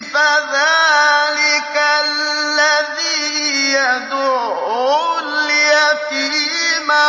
فَذَٰلِكَ الَّذِي يَدُعُّ الْيَتِيمَ